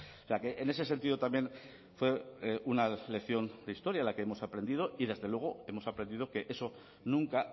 o sea que en ese sentido también fue una lección de historia de la que hemos aprendido y desde luego hemos aprendido que eso nunca